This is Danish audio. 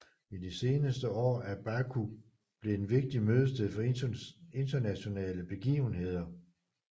I de seneste år er Baku blevet en vigtig mødested for internationale begivenheder